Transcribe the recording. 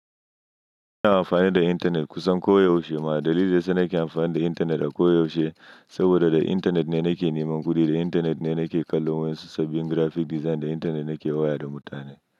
Ina amfani da intanet kusan koyaushe. Ma'adali za suna kin amfani da intanet a koyaushe saboda da intanet ne nake neman kuɗi, da intanet ne nake kallo waisu sabbin graphic design, da intanet ne ke waya da mutane.